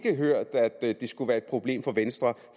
hørt at det skulle være et problem for venstre